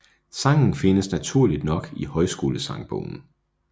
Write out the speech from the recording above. Sangen findes naturligt nok i Højskolesangbogen